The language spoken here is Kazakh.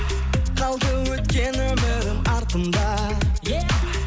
қалды өткен өмірім артымда е